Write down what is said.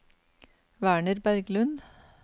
Werner Berglund